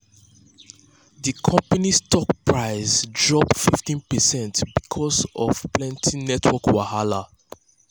d company's stock price drop 15 percent because of plenty network wahala